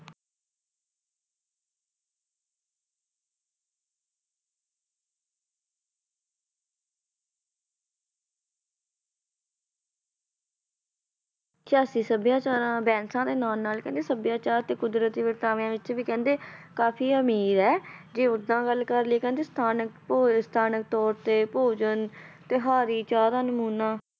ਸਭਿਆਚਾਰਾਂ ਦਾ ਦੇ ਨਾਲ ਨਾਲ ਕਹਿੰਦੇ ਸਭਿਆਚਾਰ ਤੇ ਕੁਦਰਤੀ ਵਰਤਾਵਿਆਂ ਵਿੱਚ ਵੀ ਕਹਿੰਦੇ ਕਾਫ਼ੀ ਅਮੀਰ ਹੈ ਜੇ ਓਦਾਂ ਗੱਲ ਕਰ ਲਈਏ ਕਹਿੰਦੇ ਸਥਾਨਕ ਤੋ~ ਸਥਾਨਕ ਤੌਰ ਤੇ ਭੋਜਨ ਤਿਉਹਾਰੀ ਚਾਹ ਦਾ ਨਮੂਨਾ,